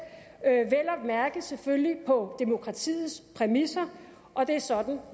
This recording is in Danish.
mærke selvfølgelig på demokratiets præmisser og det er sådan